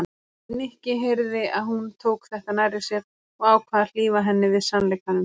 Nikki heyrði að hún tók þetta nærri sér og ákvað að hlífa henni við sannleikanum.